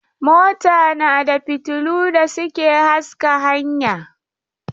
Mota na da fiotillu da suke haska hanya.